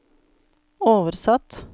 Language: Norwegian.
oversatt